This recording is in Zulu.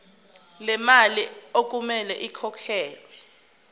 lemali okumele ikhokhelwe